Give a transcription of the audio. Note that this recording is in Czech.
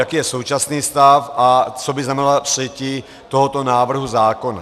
Jaký je současný stav a co by znamenalo přijetí tohoto návrhu zákona?